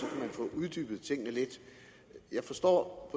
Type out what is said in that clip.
få uddybet tingene lidt jeg forstår